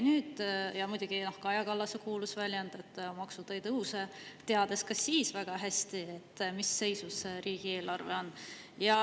Ja muidugi, noh, Kaja Kallase kuulus väljend, et maksud ei tõuse, kuigi ta teadis ka siis väga hästi, mis seisus riigieelarve on.